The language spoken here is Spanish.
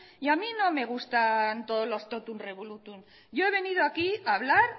y a mí no me gustan todos los totum revolutum yo he venido aquí a hablar